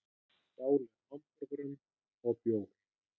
Stálu hamborgurum og bjór